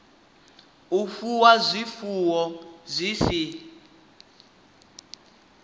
u fuwa zwifuwo zwi si